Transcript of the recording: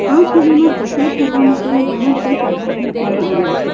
આ છવિમાં કસરત કરવા માટેના ઘણા બધા સાધનો મૂકવામાં આવ્યા છે.